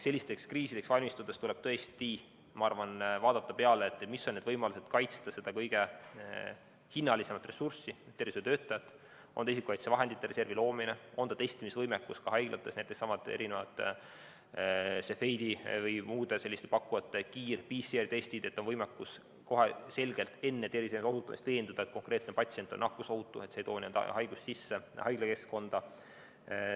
Sellisteks kriisideks valmistudes tuleb tõesti, ma arvan, vaadata, mis on need võimalused kaitsta seda kõige hinnalisemat ressurssi, tervishoiutöötajat, on see isikukaitsevahendite reservi loomine või on see testimisvõimekus ka haiglates, näiteks Cepheidi või muude selliste pakkujate kiirtestid, PCR‑testid, et oleks võimalik kohe veenduda terviseohutuses, selles, et konkreetne patsient on nakkusohutu ega too haigust sisse haiglakeskkonda.